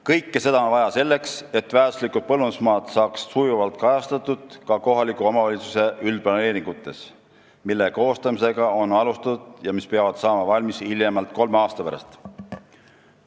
Kõike seda on vaja selleks, et väärtuslikud põllumajandusmaad saaks sujuvalt kajastatud ka kohaliku omavalitsuse üldplaneeringutes, mille koostamisega on alustatud ja mis peavad saama valmis hiljemalt kolme aasta pärast.